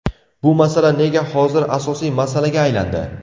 Bu masala nega hozir asosiy masalaga aylandi?